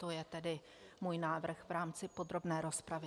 To je tedy můj návrh v rámci podrobné rozpravy.